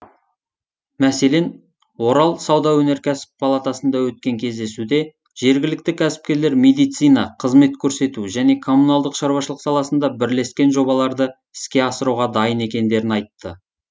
мәселен орал сауда өнеркәсіп палатасында өткен кездесуде жергілікті кәсіпкерлер медицина қызмет көрсету және коммуналдық шаруашылық саласында бірлескен жобаларды іске асыруға дайын екендерін айтты